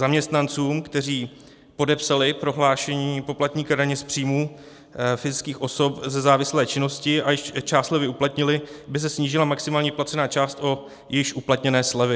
Zaměstnancům, kteří podepsali prohlášení poplatníka daně z příjmů fyzických osob ze závislé činnosti a již část slevy uplatnili, by se snížila maximální vyplacená část o již uplatněné slevy.